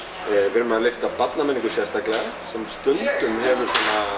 við erum að lyfta barnamenningu sérstaklega sem hefur